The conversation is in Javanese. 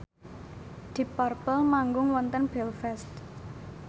deep purple manggung wonten Belfast